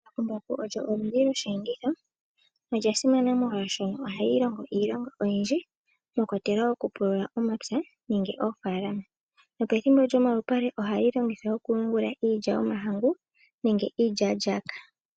Embakumbaku olyo oludhi lwosheenditho, olya simana molwaashoka ohali longo iilonga oyindji mwakwatelwa okupulula omapya nenge oofalama. Pethimbo lyomalupale ohali longithwa okuyungula iilya yomahangu nenge iilyalyaka.